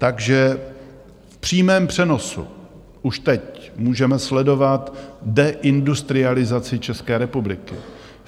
Takže v přímém přenosu už teď můžeme sledovat deindustrializaci České republiky.